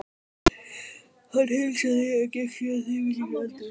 Hann heilsaði, en gekk síðan þögull inn í eldhús.